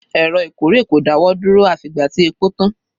Èrò ìkórè kò dáwọ́ dúró àfi ìgbà tí epo tán.